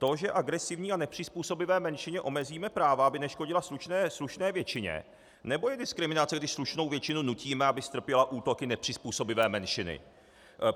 To, že agresivní a nepřizpůsobivé menšině omezíme práva, aby neškodila slušné většině, nebo je diskriminace, když slušnou většinu nutíme, aby strpěla útoky nepřizpůsobivé menšiny?